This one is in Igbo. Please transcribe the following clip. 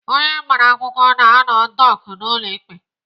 Onye agbara akwụkwọ na-anọ dọk n'ụlọ ikpe.